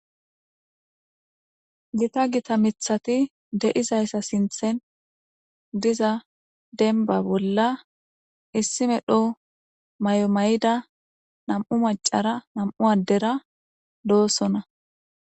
gita gita mithati de7izayssa sinthen diza denba bolla issime dhoho may7o may7ida nam7u macara nam7u addera doosona